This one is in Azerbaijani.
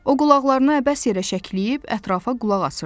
O qulaqlarını əbəs yerə şəkləyib ətrafa qulaq asırdı.